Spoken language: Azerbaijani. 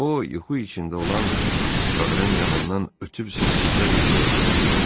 O, yuxu içində olan çadırın yanından ötüb səssizcə meşəyə götürüldü.